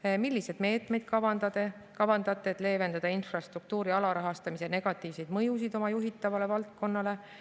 Teiseks, milliseid meetmeid kavandate, et leevendada infrastruktuuri alarahastamise negatiivseid mõjusid oma juhitavale valdkonnale?